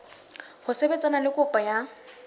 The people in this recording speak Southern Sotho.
ho sebetsana le kopo ya